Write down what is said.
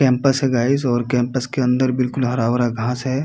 Campus है guys और campus के अंदर बिलकुल हरा-भरा घास है।